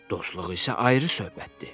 Dostluq isə ayrı söhbətdir.